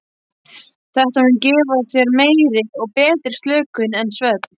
Þetta mun gefa þér meiri og betri slökun en svefn.